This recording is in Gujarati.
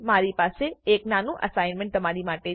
મારારી પાસે એક નાનું અસાઈનમેંટ તમારી માટે છે